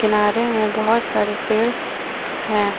किनारे में बहुत सारे पेड़ है।